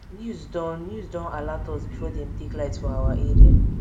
news don news don alat us before dem take light for our area